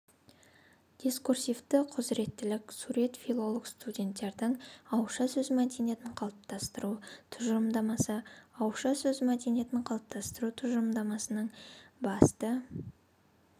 дискурсивті құзыреттілік сурет филолог-студенттердің ауызша сөз мәдениетін қалыптастыру тұжырымдамасы ауызша сөз мәдениетін қалыптастыру тұжырымдамасының басты